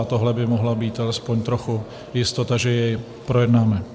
A tohle by mohla být alespoň trochu jistota, že jej projednáme.